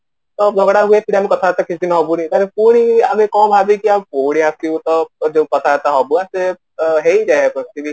ତ ଝଗଡା ହୁଏ ଫିର ଆମେ କଥାବାର୍ତା କିଛି ଦିନ ହବୁନି କାରଣ ପୁଣି ଆମେ କଣ ଭବିକି ପୁଣି ଆସିବୁ ତ ଏ ଯୋଉ କଥାବାର୍ତା ହବୁ ତ ସେ ହେଇଯାଏ କୁଚଦିନ